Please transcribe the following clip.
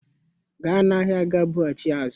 Gaa n'ahịa ga bughachi ya azu